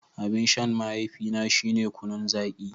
Abin shan mahaifina shine kunun zaki.